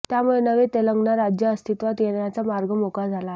त्यामुळे नवे तेलंगणा राज्य अस्तित्वात येण्याचा मार्ग मोकळा झाला आहे